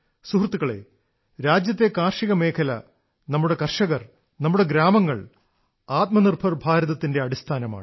സുഹൃത്തുക്കളേ രാജ്യത്തെ കാർഷികമേഖല നമ്മുടെ കർഷകർ നമ്മുടെ ഗ്രാമങ്ങൾ ആത്മനിർഭർ ഭാരതത്തിന്റെ അടിസ്ഥാനമാണ്